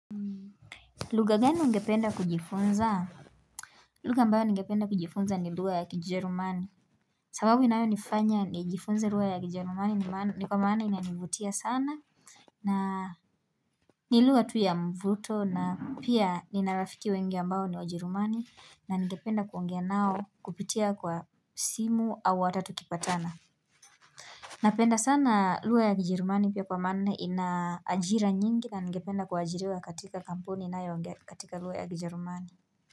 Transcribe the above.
Luga gani ungependa kujifunza? Luga ambayo ningependa kujifunza ni luga ya kijerumani sababu inayo nifanya nijifunze lugha ya kijerumani ni kwa maana inanivutia sana na ni lugha tu ya mvuto na pia nina rafiki wengi ambayo ni wajerumani na ningependa kuongea nao kupitia kwa simu au watatu kipatana Napenda sana lugha ya kijerumani pia kwa maana inajira nyingi na ningependa kuwajiriwa katika kampuni inaongea katika lugha ya kijerumani.